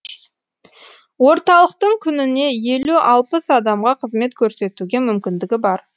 орталықтың күніне елу алпыс адамға қызмет көрсетуге мүмкіндігі бар